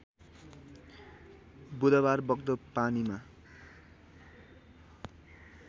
बुधबार बग्दो पानीमा